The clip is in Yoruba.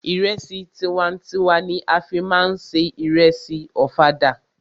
Ìrẹsì tiwa n tiwa ni a fí má ń se ìrẹsì ọ̀fadà.